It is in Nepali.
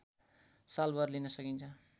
सालभर लिन सकिन्छ